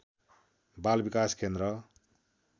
बाल विकास केन्द्र